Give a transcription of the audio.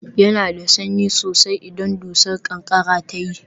Yana da sanyi sosai idan dusar ƙanƙara ta yi